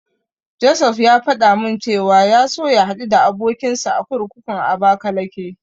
Josef ya faɗa min cewa ya so ya haɗu da abokinsa a kurkukun Abakalake.